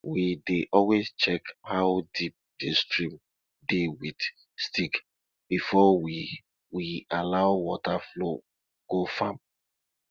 we dey always check how deep di stream dey with stick before we we allow water flow go farm